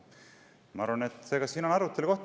Ma arvan, et siin on arutelu koht.